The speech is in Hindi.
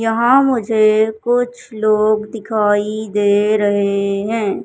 यहां मुझे कुछ लोग दिखाई दे रहे हैं।